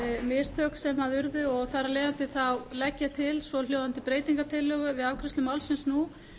mistök sem urðu og þar af leiðandi legg ég til svohljóðandi breytingartillögu við afgreiðslu málsins nú